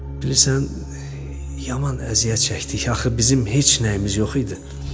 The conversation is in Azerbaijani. Bilirsən, yaman əziyyət çəkdik, axı bizim heç nəyimiz yox idi.